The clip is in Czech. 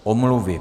Omluvy.